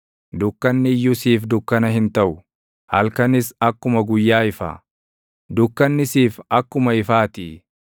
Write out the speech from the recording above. dukkanni iyyuu siif dukkana hin taʼu; halkanis akkuma guyyaa ifa; dukkanni siif akkuma ifaatii.